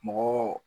Mɔgɔw